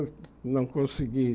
Não consegui.